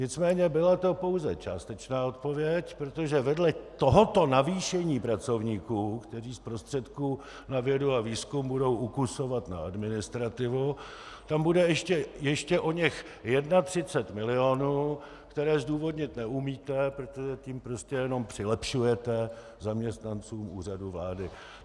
Nicméně byla to pouze částečná odpověď, protože vedle tohoto navýšení pracovníků, kteří z prostředků na vědu a výzkum budou ukusovat na administrativu, tam bude ještě oněch 31 milionů, které zdůvodnit neumíte, protože tím prostě jenom přilepšujete zaměstnancům Úřadu vlády.